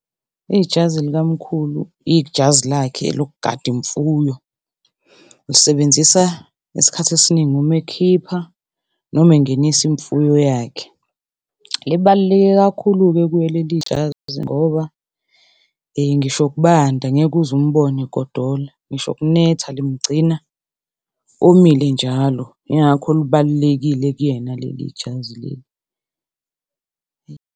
Ijazi likamkhulu ijazi lakhe lokugada imfuyo, ulisebenzisa ngesikhathi esiningi uma ekhipha noma engenisa imfuyo yakhe. Libaluleke kakhulu-ke kuye leli jazi ngoba ngisho kubanda ngeke uzumbone egodola, ngisho kunetha limgcina omile njalo. Ingakho lubalulekile kuyena leli jazi leli.